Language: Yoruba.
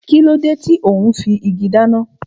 Kíló dé tò ún fi igi dáná?